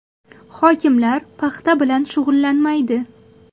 Hokimlar paxta bilan shug‘ullanmaydi.